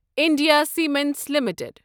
India cements limited